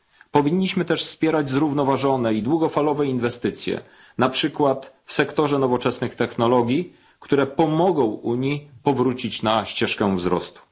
Powinniśmy też wspierać zrównoważone i długofalowe inwestycje, na przykład w sektorze nowoczesnych technologii, które pomogą Unii powrócić na ścieżkę wzrostu.